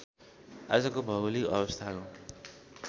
आजको भौगोलिक अवस्थाको